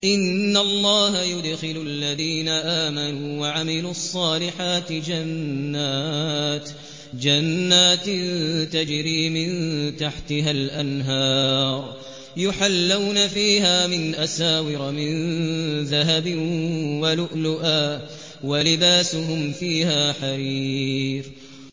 إِنَّ اللَّهَ يُدْخِلُ الَّذِينَ آمَنُوا وَعَمِلُوا الصَّالِحَاتِ جَنَّاتٍ تَجْرِي مِن تَحْتِهَا الْأَنْهَارُ يُحَلَّوْنَ فِيهَا مِنْ أَسَاوِرَ مِن ذَهَبٍ وَلُؤْلُؤًا ۖ وَلِبَاسُهُمْ فِيهَا حَرِيرٌ